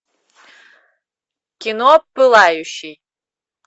кино пылающий